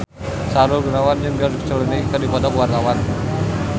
Sahrul Gunawan jeung George Clooney keur dipoto ku wartawan